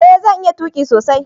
eh zan iya tuki sosai